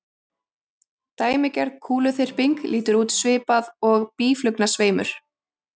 Dæmigerð kúluþyrping lítur út svipað og býflugnasveimur.